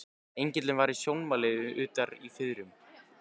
Engillinn var í sjónmáli utar í firðinum.